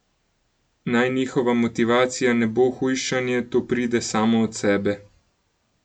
Naj njihova motivacija ne bo hujšanje, to pride samo od sebe.